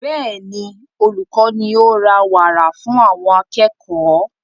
Bẹ́ẹ̀ni, olùkọ ní o ra wàrà fún àwọn akẹ́kọ̀ọ́